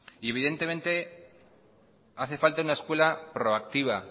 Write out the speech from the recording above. y evidentemente hace falta una escuela proactiva